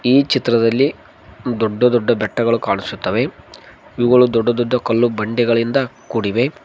ಈ ಚಿತ್ರದಲ್ಲಿ ದೊಡ್ಡ ದೊಡ್ಡ ಬೆಟ್ಟಗಳು ಕಾಣಿಸುತ್ತವೆ ಇವುಗಳು ದೊಡ್ಡ ದೊಡ್ಡ ಕಲ್ಲು ಬಂಡೆಗಳಿಂದ ಕೂಡಿವೆ.